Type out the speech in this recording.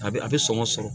A bɛ a bɛ sɔngɔ sɔrɔ